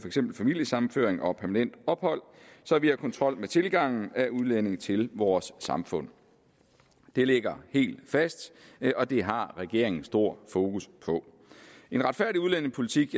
eksempel familiesammenføring og permanent ophold så vi har kontrol med tilgangen af udlændinge til vores samfund det ligger helt fast og det har regeringen stort fokus på en retfærdig udlændingepolitik